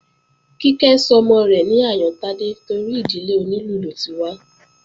Kíkẹ́ sọmọ rẹ̀ ní Àyántádé torí ìdílé onílù ló ti wá